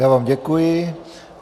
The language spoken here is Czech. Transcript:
Já vám děkuji.